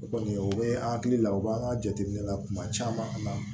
O kɔni o bɛ an hakili la o b'an ka jateminɛ la kuma caman